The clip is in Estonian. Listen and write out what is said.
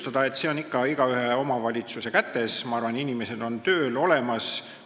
Ma arvan, et see on ikka iga omavalitsuse kätes, inimesed on tööl, olemas.